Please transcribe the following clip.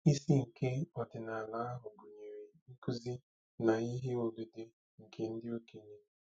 Isi nke ọdịnala ahụ gụnyere nkuzi na ihe odide nke ndị okenye.